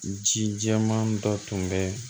Ji jɛman dɔ tun bɛ